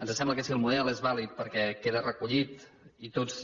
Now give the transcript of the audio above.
ens sembla que si el model és vàlid perquè queda recollit i tots